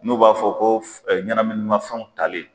N'u b'a fɔ ko ɲɛnaminimafɛnw tali.